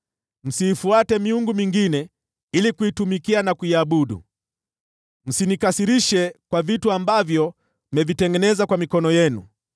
Msiifuate miungu mingine ili kuitumikia na kuiabudu. Msinikasirishe kwa vitu ambavyo mmevitengeneza kwa mikono yenu.”